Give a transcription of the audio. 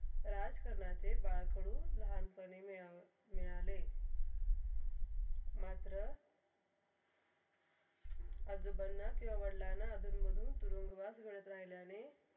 राजकरणाचे बाळकडू लाहानपणे मिळव ~मिळाले मात्र आजोबांना किवा वडिलांना तुरुंगवात घडत राहिलाने.